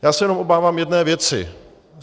Já se jenom obávám jedné věci.